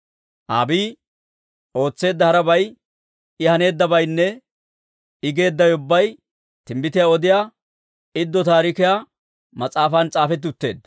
Abiiyi ootseedda harabay, I haneeddabaynne I geeddawe ubbay Timbbitiyaa Odiyaa Iddo Taarikiyaa mas'aafan s'aafetti utteedda.